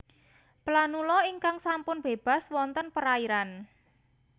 Planula ingkang sampun bébas wonten perairan